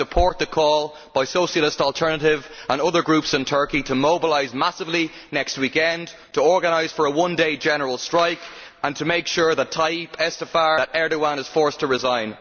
I support the call by Socialist Alternative and other groups in Turkey to mobilise massively next weekend, to organise for a one day general strike and to make sure that Tayyip Erdoğan is forced to resign.